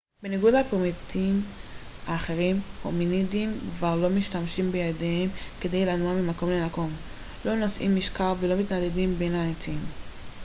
בניגוד לפרימטים אחרים הומינידים כבר לא משתמשים בידיהם כדי לנוע ממקום למקום לא נושאים משקל ולא מתנדנדים בין העצים